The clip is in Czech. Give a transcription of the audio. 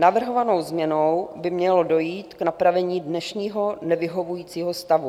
Navrhovanou změnou by mělo dojít k napravení dnešního nevyhovujícího stavu.